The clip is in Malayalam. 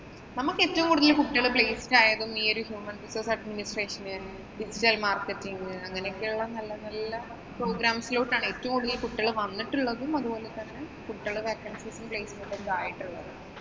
നമുക്ക് ഏറ്റവും കൂടുതല്‍ കുട്ടികള്‍ placed ആയതും ഈ ഒരു human resource adminstration, digital marketing അങ്ങനെയൊക്കെയുള്ള നല്ല നല്ല programs ഇലോട്ടാണ് ഏറ്റവും കൂടുതല്‍ കുട്ടികള്‍ വന്നിട്ടുള്ളതും, അതുപോലെ തന്നെ കുട്ടികള് placement ഒക്കെ ആയിട്ടുള്ളത്.